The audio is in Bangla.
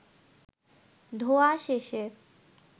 ধোয়া শেষে